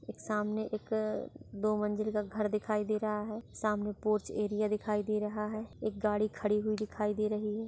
एक सामने एक दो मंजिल का घर दिखाई दे रहा है सामने पोछ एरिया दिखाई दे रहा है एक गाड़ी खड़ी हुई दिखाई दे रही है।